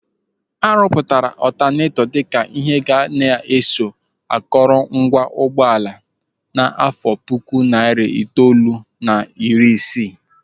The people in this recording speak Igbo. A rụpụtara ọtanetọ dịka ihe ga-eso na akọrọ ngwa ụgbọala n'àfọ́ puku narị itoolu na iri isii